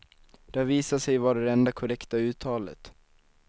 Det har visat sig vara det enda korrekta uttalet.